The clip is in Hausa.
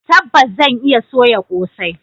Tabbas zan iya soya kosai.